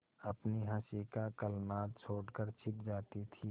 अपनी हँसी का कलनाद छोड़कर छिप जाती थीं